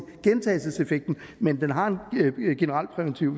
gentagelseseffekten men den har en generalpræventiv